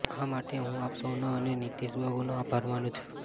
આ માટે હું આપ સૌનો અને નીતીશબાબુનો આભાર માનું છું